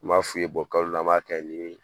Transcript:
N b'a f'u ye kalo la an b'a kɛ nin ye